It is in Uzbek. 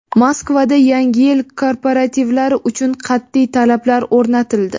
Moskvada yangi yil korporativlari uchun qat’iy talablar o‘rnatildi.